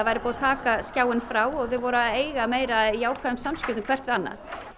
að taka skjáinn frá og þau voru að eiga meira af jákvæðum samskiptum hvert við annað